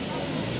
Yaxşı yaxşı.